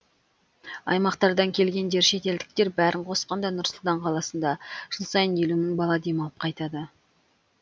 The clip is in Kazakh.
аймақтардан келгендер шетелдіктер бәрін қосқанда нұр сұлтан қаласында жыл сайын елу мың бала демалып қайтады